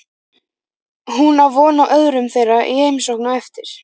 Hún á von á öðrum þeirra í heimsókn á eftir.